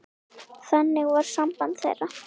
Þannig var samband þeirra.